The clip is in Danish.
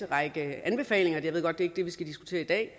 række anbefalinger og jeg ved godt det ikke er det vi skal diskutere i dag